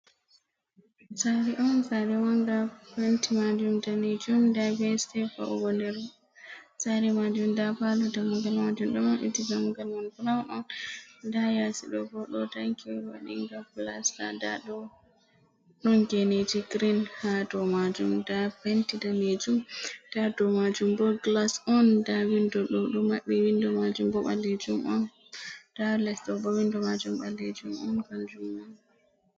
Saare on saare manga penti majuum damejuum, nda be wa’ugo nder ,saare majuum nda palo damuggal majuum ɗo mabbiti, dammugal man burawun on, nda yasiɗo bo ɗo tanki ,waɗiga gilas nda ɗon geneji girin ha dou majuum, nda penti damejuum nda dou majuum bo gilas on, nda windo ɗo maɓɓiti ,windo majuum bo ɓalejuum on nda leɗo bo windo majuum ɓalejuum on kanjuum ma.